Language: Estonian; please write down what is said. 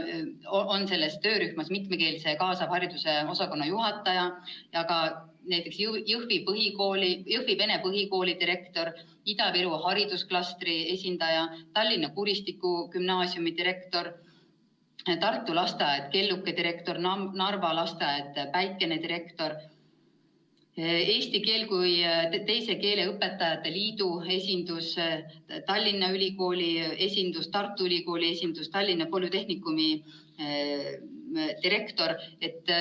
Selles töörühmas on veel mitmekeelse kaasava hariduse osakonna juhataja ja ka näiteks Jõhvi Vene Põhikooli direktor, Ida-Virumaa haridusklastri esindaja, Tallinna Kuristiku Gümnaasiumi direktor, Tartu lasteaia Kelluke direktor, Narva lasteaia Päikene direktor, Eesti Keele kui Teise Keele Õpetajate Liidu esindus, Tallinna Ülikooli esindus, Tartu Ülikooli esindus, Tallinna Polütehnikumi direktor.